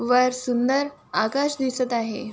वर सुंदर आकाश दिसत आहे.